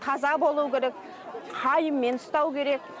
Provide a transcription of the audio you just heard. таза болу керек қайыңмен ыстау керек